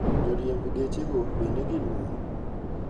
Joriemb gechego bende gin mon.